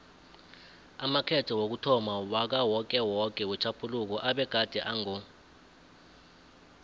amakhetho wokuthomma wakawokewoke wetjhaphuluko abegade ango